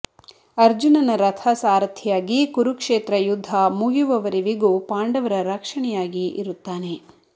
ಅರ್ಜುನನ ರಥ ಸಾರಥಿಯಾಗಿ ಕುರುಕ್ಷೇತ್ರ ಯುದ್ಧ ಮುಗಿಯುವವರೆವಿಗೂ ಪಾಂಡವರ ರಕ್ಷಣೆಯಾಗಿ ಇರುತ್ತಾನೆ